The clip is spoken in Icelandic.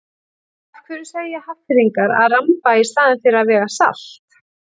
Af hverju segja Hafnfirðingar að ramba í staðinn fyrir að vega salt?